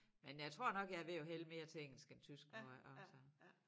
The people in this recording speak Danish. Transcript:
Men jeg tror nok jeg er ved at hælde mere til engelsk end tysk nu her også